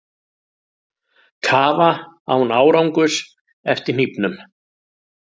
Kafa án árangurs eftir hnífnum